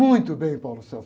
Muito bem.